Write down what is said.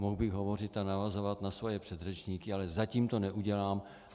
Mohl bych hovořit a navazovat na svoje předřečníky, ale zatím to neudělám.